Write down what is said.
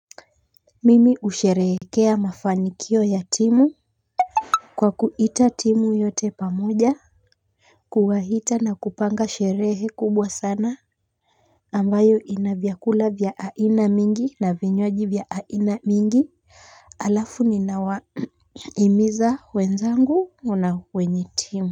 Mimi husherekea mafanikio ya timu kwa kuita timu yote pamoja kuwaita na kupanga sherehe kubwa sana ambayo ina vyakula vya aina mingi na vinywaji vya aina mingi. Alafu ninawahimiza wenzangu na wenye timu.